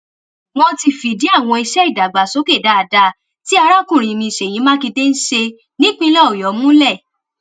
wọn ti fìdí àwọn iṣẹ ìdàgbàsókè dáadáa tí arákùnrin mi ṣèyí makinde ń ṣe nípìnlẹ ọyọ múlẹ